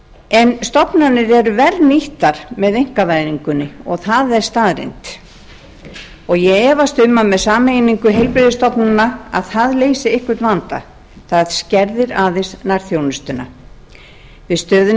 en stofnanir eru verr nýttar með einkavæðingunni og það er staðreynd ég efast um að með sameiningu heilbrigðisstofnana leysist einhver vandi það skerðir aðeins nærþjónustuna við stöðuna í